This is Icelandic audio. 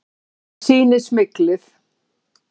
Það sýni smyglið.